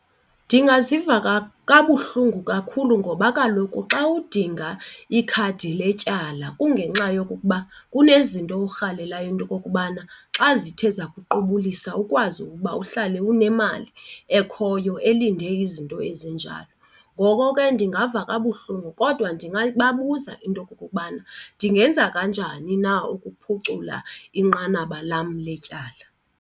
Ndingaziva kabuhlungu kakhulu ngoba kaloku xa udinga ikhadi letyala kungenxa yokokuba kunezinto orhalela into yokokubana xa zithe zakuqubulisa ukwazi ukuba uhlale unemali ekhoyo elinde izinto ezinjalo. Ngoko ke ndingava kabuhlungu kodwa ndingababuza into yokokubana ndingenza kanjani na ukuphucula inqanaba lam letyala.